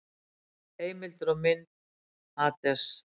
Heimildir og mynd: Hades.